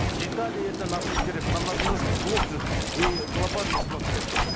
детали это нам не интересно нам надо немножко глубже и глобальнее смотреть